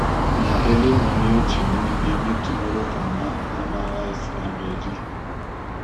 na early manure training dey make tomorrow farmer farmer wise and ready.